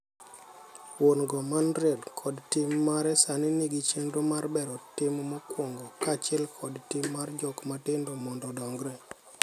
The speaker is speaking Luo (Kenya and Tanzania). Wuon go manrien kod tim mare sani nigi chenro mar bero tim mokwongo kaachiel kod tim mar jok matindo mondo odongre.